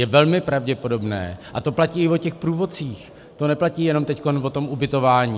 Je velmi pravděpodobné - a to platí i o těch průvodcích, to neplatí jenom teď o tom ubytování.